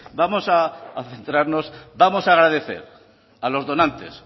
vamos a centrarnos vamos a agradecer a los donantes